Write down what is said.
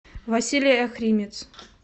василий охримец